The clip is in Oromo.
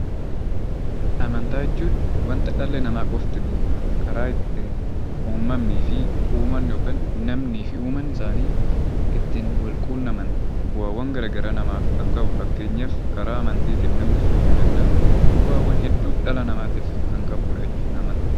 Amantaa jechuun waanta dhalli namaa qofti beeku, karaa ittiin namni fi uumaan isaanii ittiin wal quunnaman, bu'aawwan garaagaraa namaaf kan qabu fakkeenyaaf karaa amantiitiin namni fayyuu danda'a. Bu'aawwaan hedduu kan dhala namaatiif qabu jechuudha amantiin.